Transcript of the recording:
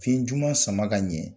Fiɲɛ juma sama ka ɲɛ